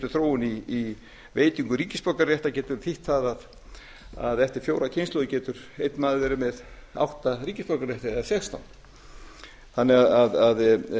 þróun í veitingu ríkisborgararéttar getur þýtt það að eftir fjórar kynslóðir getur einn maður verið með átta ríkisborgararétti eða sextán þannig að